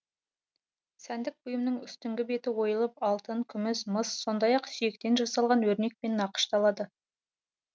сәндік бұйымның үстіңгі беті ойылып алтын күміс мыс сондай ақ сүйектен жасалған өрнекпен нақышталады